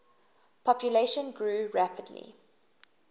population grew rapidly